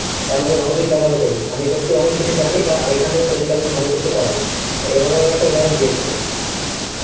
তারমানে ভালো দিক ব্যবহার করি আমি সত্যি অনেক কিছুই জানি বা এখান থেকে তোদের কে আমি অনেক কিছুই করাই এইরকম ভাবেই একটা উদহারণ দিয়েছিলো